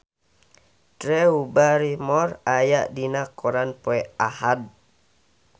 Drew Barrymore aya dina koran poe Ahad